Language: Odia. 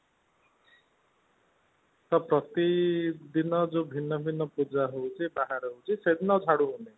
ତ ପ୍ରତି ଦିନ ଯୋଉ ଭିନ୍ନ ଭିନ୍ନ ପୂଜା ହୋଉଛି ବାହାରେ ହୋଉଛି ସେଦିନ ଆଉ ଝାଡୁ ହୋଉନି